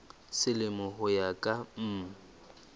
selemo ho ya ka mm